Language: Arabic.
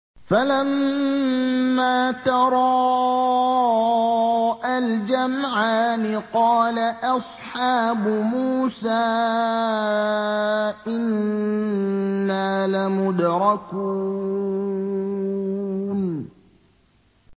فَلَمَّا تَرَاءَى الْجَمْعَانِ قَالَ أَصْحَابُ مُوسَىٰ إِنَّا لَمُدْرَكُونَ